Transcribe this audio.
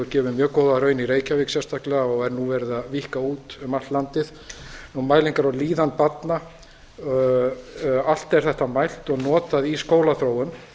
gefið mjög góða raun í reykjavík og er nú verið að víkka út um allt landið mælingar á líðan barna allt er þetta mælt og notað í skólaþróun